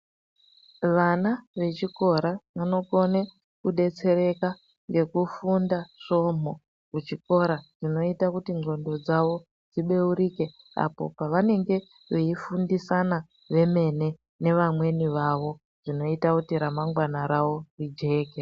Vana vechikora vanokone kudetsereka ngekufunda svomhu kuchikora zvinoita kuti ndxondo dzavo dzibeurike apo pavenenge veifundisana vemene nevamweni vavo zvinoita kuti remangwana ravo rijeke.